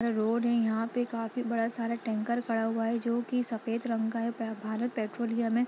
यह रोड है यहां पे काफी बड़ा सारा टैंकर खड़ा हुआ है जो कि सफेद रंग का है पे-भारत पेट्रोलियम है।